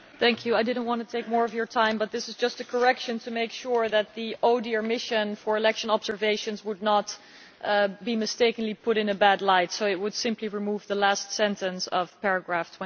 Mr President, I do not want to take more of your time but this is just a correction to make sure that the ODIHR Mission for Election Observations would not mistakenly be put in a bad light, so it would simply remove the last sentence of paragraph